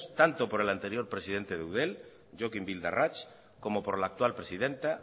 tanto por el anterior presidente de eudel jokin bildarratz como por la actual presidenta